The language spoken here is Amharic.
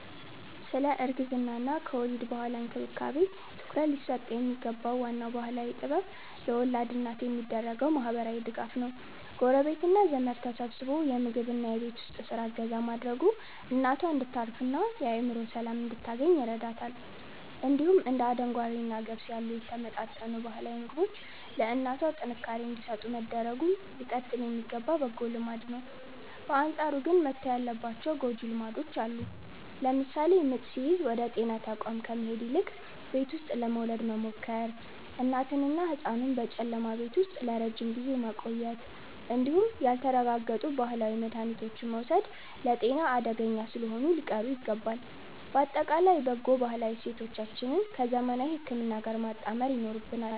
ስለ እርግዝናና ከወሊድ በኋላ እንክብካቤ ትኩረት ሊሰጠው የሚገባው ዋናው ባህላዊ ጥበብ ለወላድ እናት የሚደረገው ማህበራዊ ድጋፍ ነው። ጎረቤትና ዘመድ ተሰባስቦ የምግብና የቤት ውስጥ ስራ እገዛ ማድረጉ እናቷ እንድታርፍና የአእምሮ ሰላም እንድታገኝ ይረዳታል። እንዲሁም እንደ አደንጓሬና ገብስ ያሉ የተመጣጠኑ ባህላዊ ምግቦች ለእናቷ ጥንካሬ እንዲሰጡ መደረጉ ሊቀጥል የሚገባ በጎ ልማድ ነው። በአንጻሩ ግን መተው ያለባቸው ጎጂ ልማዶች አሉ። ለምሳሌ ምጥ ሲይዝ ወደ ጤና ተቋም ከመሄድ ይልቅ ቤት ውስጥ ለመውለድ መሞከር፣ እናትንና ህጻኑን በጨለማ ቤት ውስጥ ለረጅም ጊዜ ማቆየት እንዲሁም ያልተረጋገጡ ባህላዊ መድሃኒቶችን መውሰድ ለጤና አደገኛ ስለሆኑ ሊቀሩ ይገባል። ባጠቃላይ በጎ ባህላዊ እሴቶቻችንን ከዘመናዊ ህክምና ጋር ማጣመር ይኖርብናል።